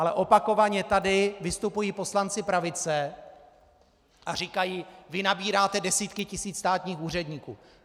Ale opakovaně tady vystupují poslanci pravice a říkají: vy nabíráte desítky tisíc státních úředníků.